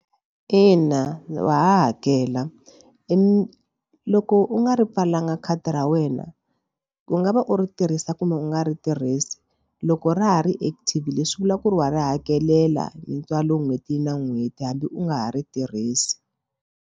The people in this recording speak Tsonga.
Ina wa ha hakela i loko u nga ri pfalanga khadi ra wena ku nga va u ri tirhisa kumbe u nga ri tirhisi loko ra ha ri active leswi vula ku ri wa ri hakelela hi ntswalo n'hweti na n'hweti hambi u nga ha ri tirhisi.